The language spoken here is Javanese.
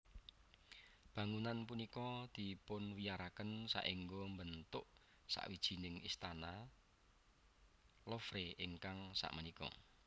Bangunan punika dipunwiyaraken saengga mbentuk sawijining Istana Louvre ingkang sakmenika